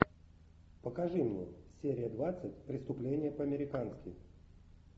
покажи мне серия двадцать преступление по американски